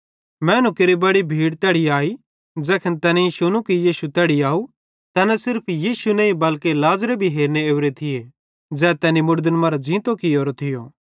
मैनू केरि बड़ी भीड़ी तैड़ी आई ज़ैखन तैनेईं शुनू कि यीशु तैड़ी आव तैना सिर्फ यीशु नईं बल्के लाज़रे भी हेरने ओरे थिये ज़ै तैनी मुड़दन मरां ज़ींतो कियोरो थियो